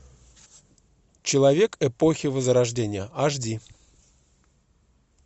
человек эпохи возрождения аш ди